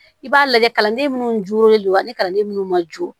I b'a lajɛ kalanden minnu jolen do ani kalanden minnu ma jo